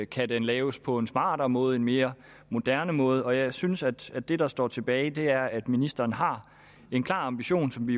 kan den laves på en smartere måde en mere moderne måde jeg synes at det der står tilbage er at ministeren har en klar ambition som vi